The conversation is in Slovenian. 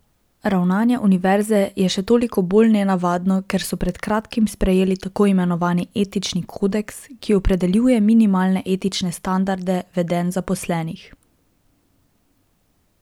Ravnanje univerze je še toliko bolj nenavadno, ker so pred kratkim sprejeli tako imenovani etični kodeks, ki opredeljuje minimalne etične standarde vedenj zaposlenih.